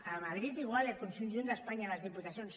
a madrid igual i al conjunt d’espanya les diputacions